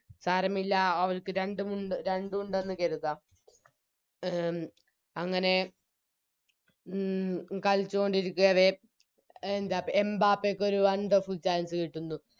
സാരമില്ല അവർക്ക് രണ്ടുമുണ്ട് രണ്ടുണ്ടെന്ന് കെരുതം അങ്ങനെ ഉം കളിച്ചോണ്ടിരിക്കവേ എന്താ എംബാപ്പക്കൊരു Wonderful chance കിട്ടുന്നു